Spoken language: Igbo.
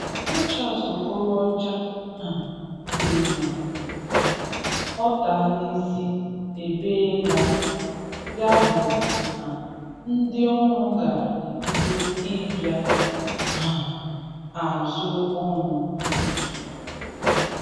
Rochas Okorocha um sị na um ọta n’isi ebeela, yabụ na ndị ọrụ ga-ebido ịbịa um azụ ọrụ n’izu.